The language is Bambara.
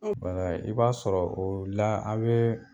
i b'a sɔrɔ o la a' bee